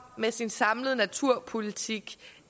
med sin samlede naturpolitik